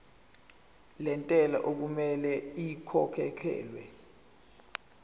lentela okumele ikhokhekhelwe